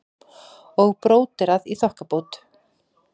Og bróderað í þokkabót.